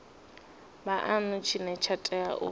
vhuanu tshine tsha tea u